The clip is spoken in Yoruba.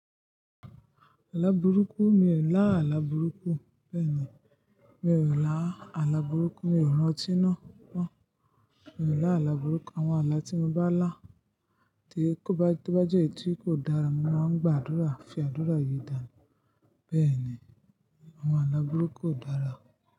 Àlà burúkú, mi ò lá àlà burúkú. Bẹ́ẹ̀ni, mi ò lá àlà burúkú. Mi ò rantí naa mo Mi ò lá àlà burúkú. Àwọn àlà tí mo bá lá tí kó bá tó bá jẹ́ èyí tí kò dára, mo máa ń gbàdúrà fi àdúrà yìí dànù. Bẹ́ẹ̀ni, àwọn àlà burúkú kò dára.